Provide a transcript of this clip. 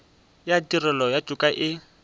ya tirelo ya toka e